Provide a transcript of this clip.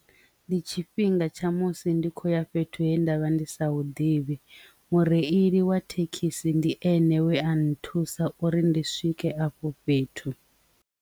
Ndi tshifhinga tsha musi ndi kho ya fhethu he ndavha ndi sa u ḓivhi mureili wa thekhisi ndi ene awe a nthusa uri ndi swike afho fhethu.